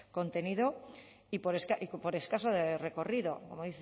contenido y por escaso recorrido como